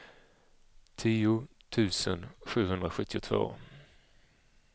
tio tusen sjuhundrasjuttiotvå